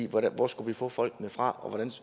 hvor skulle vi få folkene fra og